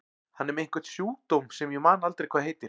Hann er með einhvern sjúkdóm sem ég man aldrei hvað heitir.